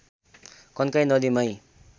कन्काई नदी माइ